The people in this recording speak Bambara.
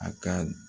A ka